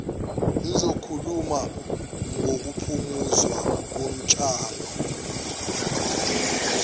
sizokhuluma ngokuphuzwa kotshwala